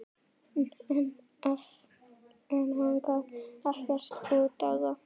En hann gaf ekkert út á það.